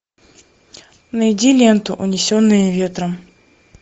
найди ленту унесенные ветром